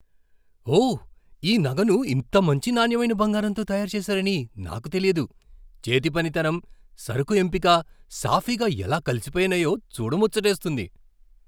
ఓహ్, ఈ నగను ఇంత మంచి నాణ్యమైన బంగారంతో తయారు చేసారని నాకు తెలియదు. చేతి పనితనం, సరకు ఎంపిక సాఫీగా ఎలా కలిసిపోయినాయో చూడ ముచ్చటేస్తుంది .